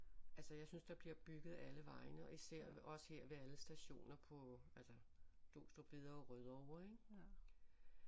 Altså jeg synes der bliver bygget alle vegne og især også her ved alle stationer på altså Glostrup Hvidovre Rødovre ik